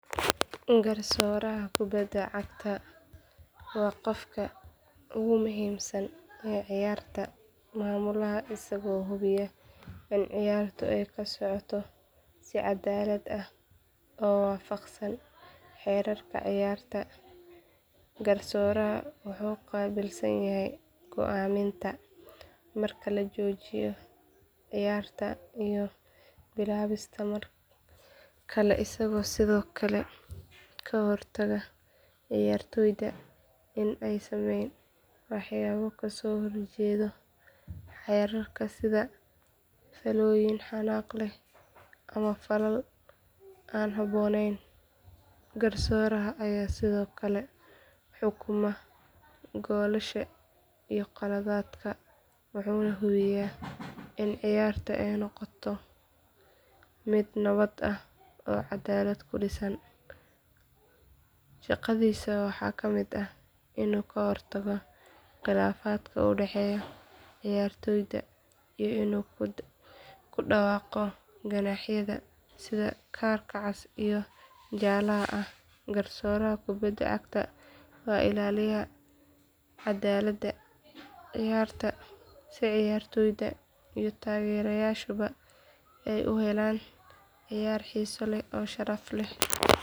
Garsooraha kubadda cagta waa qofka ugu muhiimsan ee ciyaarta maamula isagoo hubiya in ciyaartu ay ku socoto si caddaalad ah oo waafaqsan xeerarka ciyaarta Garsooruhu wuxuu qaabilsan yahay go'aaminta marka la joojiyo ciyaarta iyo bilaabista mar kale isagoo sidoo kale ka hortaga ciyaartoyda in ay sameeyaan waxyaabo ka soo horjeeda xeerarka sida faallooyin xanaaq leh ama falal aan habboonayn Garsooraha ayaa sidoo kale xukuma goolasha iyo khaladaadka wuxuuna hubiyaa in ciyaarta ay noqoto mid nabad ah oo cadaalad ku dhisan shaqadiisa waxaa ka mid ah inuu ka hortago khilaafaadka u dhexeeya ciyaartoyda iyo inuu ku dhawaaqo ganaaxyada sida kaarka cas iyo jaalaha ah Garsooraha kubadda cagta waa ilaaliyaha cadaaladda ciyaarta si ciyaartoyda iyo taageerayaashuba ay u helaan ciyaar xiiso leh oo sharaf leh.